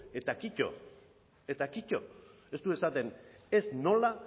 eta kito eta kito ez du esaten ez nola